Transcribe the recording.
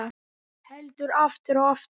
Heldur aftur og aftur.